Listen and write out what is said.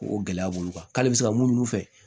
Ko gɛlɛya b'olu kan k'ale bɛ se ka mun fɛ